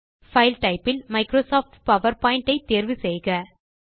file typeஇல் Microsoft PowerPoint தேர்வு செய்க